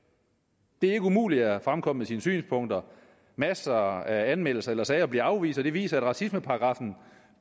det er ikke umuligt at fremkomme med sine synspunkter masser af anmeldelser eller sager bliver afvist og det viser at racismeparagraffen